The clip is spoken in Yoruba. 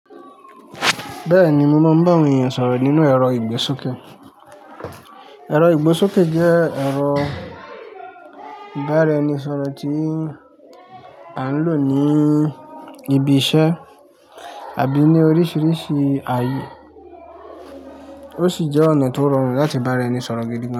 Bẹ́ẹ̀ni mo mọ ń bá àwọn èèyàn sọ̀rọ̀ nínú ẹ̀rọ ìgbésókè. Ẹ̀rọ ìgbésókè jẹ́ ẹ̀rọ ìbára ẹni sọ̀rọ̀ tí a ń lò ní ibi iṣẹ́ àbí ní oríṣiríṣi ààyè. Ó sì jẹ́ ọ̀nà tó rọrùn láti bá ẹni sọ̀rọ̀ gidi gan.